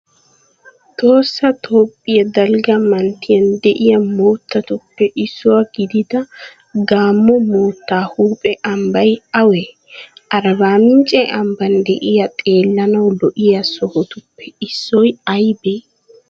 Tohossa toophphiya dalgga manttiyan de'iya moottatuppe issuwa gidida gaammo moottaa huuphe ambbay awee? Arbbaa mincce ambban de'iya xeellanawu lo"iya sohotuppe issoy aybee?